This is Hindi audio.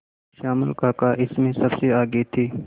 श्यामल काका इसमें सबसे आगे थे